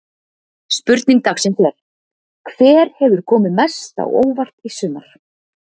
Spurning dagsins er: Hver hefur komið mest á óvart í sumar?